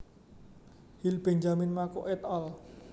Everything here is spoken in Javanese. Hill Benjamin Mako et al